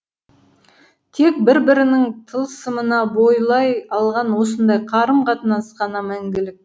тек бір бірінің тылсымына бойлай алған осындай қарым қатынас қана мәңгілік